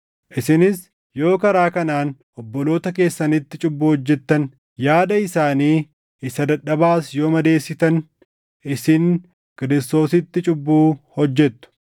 Isinis yoo karaa kanaan obboloota keessanitti cubbuu hojjettan, yaada isaanii isa dadhabaas yoo madeessitan, isin Kiristoositti cubbuu hojjettu.